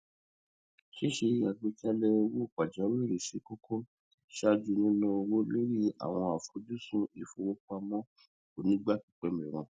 ṣíṣe àgbékalẹ owó pàjáwìri ṣé kókó ṣáájú níná owó lorí àwọn àfojúsùn ìfowópamọ onígbà pípẹ mìíràn